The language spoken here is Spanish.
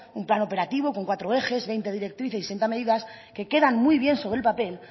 un plan operativo con cuatro ejes veinte directrices y sesenta medidas que quedan muy bien sobre el papel